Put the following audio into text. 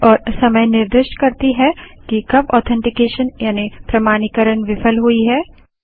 तारीख और समय निर्दिष्ट करती है कि कब ऑथेन्टीकेशन यानि प्रमाणीकरण विफल हुई है